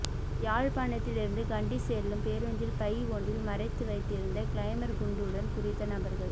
யாழ்ப்பாணத்தில் இருந்து கண்டி செல்லும் பேருந்தில் பை ஒன்றில் மறைத்து வைத்திருந்த கிளைமோர் குண்டுடன் குறித்த நபர்கள்